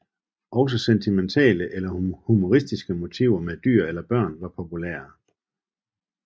Også sentimentale eller humoristiske motiver med dyr eller børn var populære